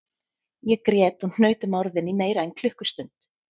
Ég grét og hnaut um orðin í meira en klukkustund